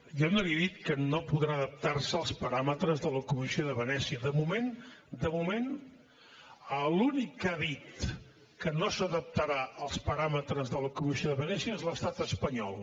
jo no li he dit que no podrà adaptar se als paràmetres de la comissió de venècia de moment de moment l’únic que ha dit que no s’adaptarà als paràmetres de la comissió de venècia és l’estat espanyol